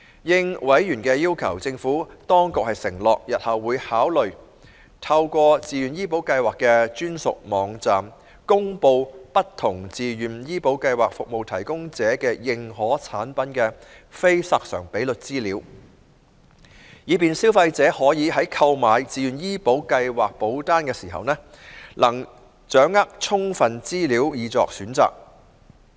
應委員的要求，政府當局承諾，日後會考慮透過自願醫保計劃的專屬網站，公布不同自願醫保計劃服務提供者的認可產品的非索償比率資料，以便消費者可以在購買自願醫保計劃保單時，能掌握充分資料以作選擇。